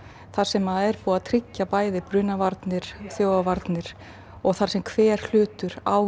þar sem er búið að tryggja brunavarnir og þjófavarnir og þar sem hver hlutur á